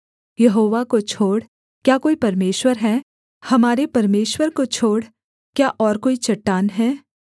यहोवा को छोड़ क्या कोई परमेश्वर है हमारे परमेश्वर को छोड़ क्या और कोई चट्टान है